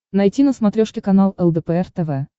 найти на смотрешке канал лдпр тв